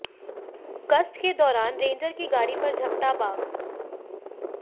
गश्त के दौरान रेंजर की गाड़ी पर झपटा बाघ